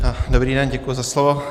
Dobrý den, děkuji za slovo.